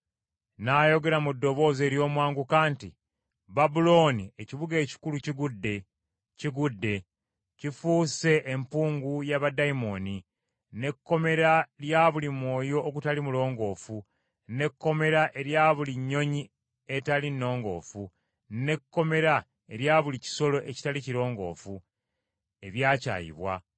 N’ayogera mu ddoboozi ery’omwanguka nti, “Babulooni ekibuga ekikulu kigudde! kigudde! Kifuuse empuku ya baddayimooni, n’ekkomera lya buli mwoyo ogutali mulongoofu, n’ekkomera erya buli nnyonyi etali nnongoofu, n’ekkomera erya buli kisolo ekitali kirongoofu, ebyakyayibwa.